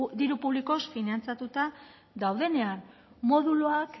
diru publikoz finantzatuta daudenean moduluak